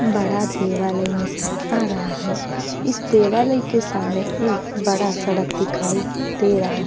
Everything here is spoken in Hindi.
बड़ा देवालय नज़र आ रहा है। इस देवालय के सामने एक बड़ा सड़क दिखाई दे रहा है।